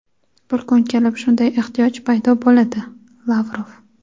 bir kun kelib shunday ehtiyoj paydo bo‘ladi – Lavrov.